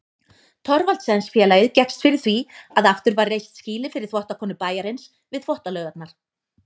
Thorvaldsensfélagið gekkst fyrir því að aftur var reist skýli fyrir þvottakonur bæjarins við Þvottalaugarnar.